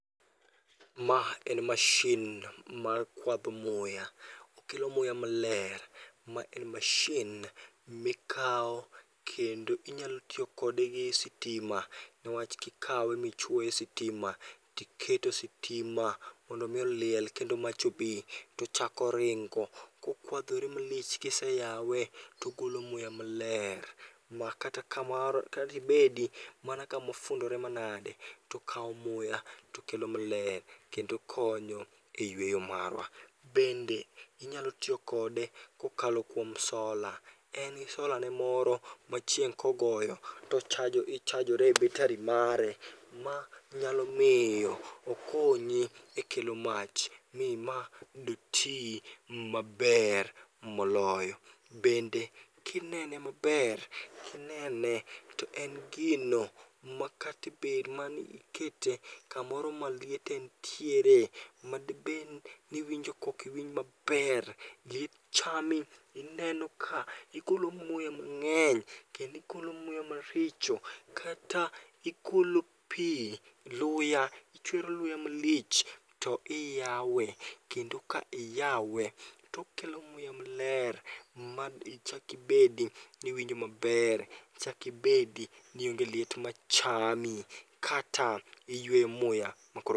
Ma en mashin mar kwadho muya, okelo muya maler. Ma en mashin mikawo kendo inyalo tiyo kode gi sitima, newach kikawe michwoye e sitima tiketo sitima mondo mi oliel kendo mach obi. Tochako ringo kokwadhore malich kiseyawe togolo muya maler. Ma kata ka mar kadibedi mana kamofundore manade, tokawo muya tokelo maler, kendo konyo e yweyo marwa. Bende inyalo tiyo kode kokalo kuom sola, en gi solane moro ma chieng' kogoyo tochajo, ichajore e betari mare. Ma nyalo miyo okonyi e kelo mach mi ma doti maber moloyo. Bende kinene maber, kinene to en gino makatebedni ikete kamoro ma liet entiere. Ma debed niwinjo kokiwinj maber, gichami ineno ka igolo muya mang'eny kendigolo muya maricho. Kata igolo pi luya, ichwero luya malich to iyawe. Kendo ka iyawe, tokelo muya maler mad ichak ibedi niwinjo maber, ichakibedi ni onge liet machami. Kata iyweyo muya makoro.